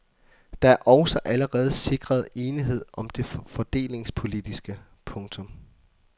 Der er også allerede sikret enighed om det fordelingspolitiske. punktum